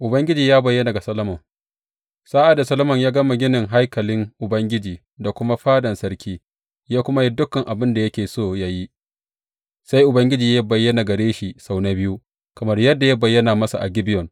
Ubangiji ya bayyana ga Solomon Sa’ad da Solomon ya gama ginin haikalin Ubangiji da kuma fadan sarki, ya kuma yi dukan abin da yake so yă yi, sai Ubangiji ya bayyana gare shi sau na biyu, kamar yadda ya bayyana masa a Gibeyon.